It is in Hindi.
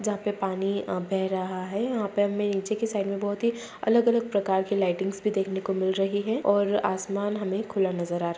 जहाँ पे पानी अ बेह रहा है यहाँ पे हमें नीचे के साइड में हमें बहुत ही अलग-अलग प्रकार के लइटिंग्स भी देखने को मिल रही है और असमान हमें खुला नजर आ --